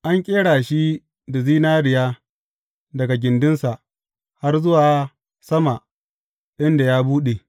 An ƙera shi da zinariya daga gindinsa har zuwa sama inda ya buɗu.